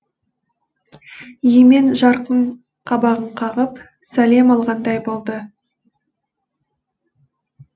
емен жарқын қабағын қағып сәлем алғандай болды